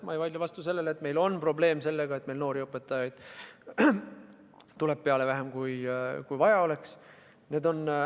Ma ei vaidle vastu, et meil on probleem sellega, et noori õpetajaid tuleb peale vähem, kui vaja oleks.